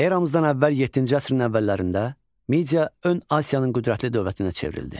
Eramızdan əvvəl yeddinci əsrin əvvəllərində Media Ön Asiyanın qüdrətli dövlətinə çevrildi.